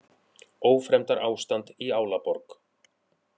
Ófremdarástand í Álaborg